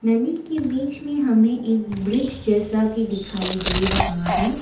नदी के बीच में हमें एक ब्रिज जैसा भी दिखाई दे रहा है।